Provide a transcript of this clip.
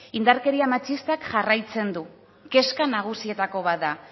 indarkeria matxistak jarraitzen du kezka nagusienetako bat da